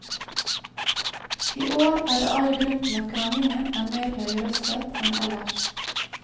I år er det all grunn til at kranglingen er mer høyrøstet enn ellers.